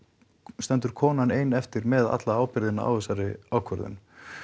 stendur konan ein eftir með alla ábyrgðina á þessari ákvörðun